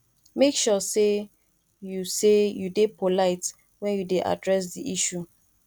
make sure say you say you de polite when you de address di issue